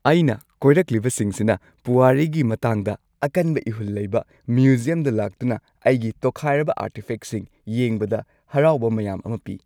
ꯑꯩꯅ ꯀꯣꯏꯔꯛꯂꯤꯕꯁꯤꯡꯁꯤꯅ ꯄꯨꯋꯥꯔꯤꯒꯤ ꯃꯇꯥꯡꯗ ꯑꯀꯟꯕ ꯏꯍꯨꯜ ꯂꯩꯕ, ꯃ꯭ꯌꯨꯖꯤꯌꯝꯗ ꯂꯥꯛꯇꯨꯅ ꯑꯩꯒꯤ ꯇꯣꯈꯥꯏꯔꯕ ꯑꯥꯔꯇꯤꯐꯦꯛꯁꯤꯡ ꯌꯦꯡꯕꯗ ꯍꯔꯥꯎꯕ ꯃꯌꯥꯝ ꯑꯃ ꯄꯤ꯫